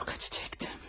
Çox acı çəkdim.